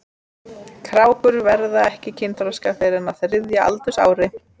Krákur verða ekki kynþroska fyrr en á þriðja aldursári.